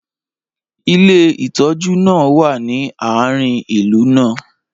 ilé ìtójú náà wa ni aarin ìlú náà